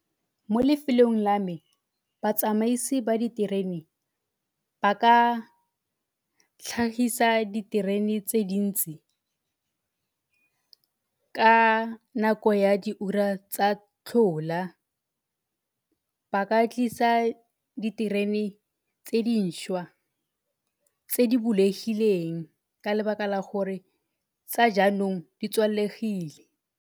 Mo lefelong la me, batsamaisi ba diterene ba ka tlhagisa diterene tse dintsi ka nako ya di ura tsa tlhola. Ba ka tlisa diterene tse dišwa tse di bulegileng ka lebaka la gore tsa jaanong di tswalegile.